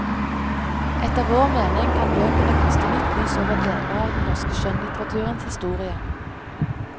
Etter vår mening kan bøkene kaste nytt lys over deler av den norske skjønnlitteraturens historie.